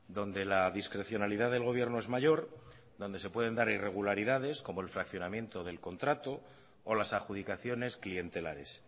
donde la discrecionalidad del gobierno es mayor donde se pueden dar irregularidad como el fraccionamiento del contrato o las adjudicaciones clientelares